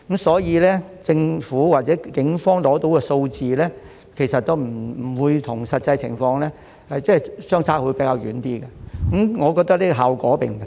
所以，政府或警方取得的數字其實與實際情況相差較遠，我覺得這個效果並不大。